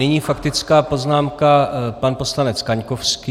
Nyní faktická poznámka - pan poslanec Kaňkovský.